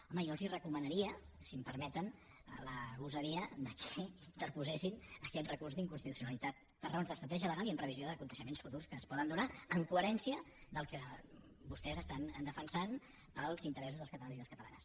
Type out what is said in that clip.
home jo els recomanaria si em permeten la gosadia que interposessin aquest recurs d’inconstitucionalitat per raons d’estratègia legal i en previsió d’esdeveniments futurs que es poden donar en coherència amb el que vostès estan defensant pels interessos dels catalans i les catalanes